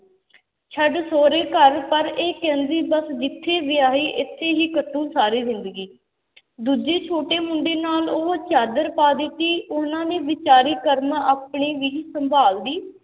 ਛੱਡ ਸਹੁਰੇ ਘਰ, ਪਰ ਇਹ ਕਹਿੰਦੀ ਬੱਸ ਜਿੱਥੇ ਵਿਆਹੀ ਇੱਥੇ ਹੀ ਕੱਟੂ ਸਾਰੀ ਜ਼ਿੰਦਗੀ ਦੂਜੇ ਛੋਟੇ ਮੁੰਡੇ ਨਾਲ ਉਹ ਚਾਦਰ ਪਾ ਦਿੱਤੀ, ਉਹਨਾਂ ਨੇ ਬੇਚਾਰੀ ਕਰਮ ਆਪਣੇ ਵੀ ਸੰਭਾਲਦੀ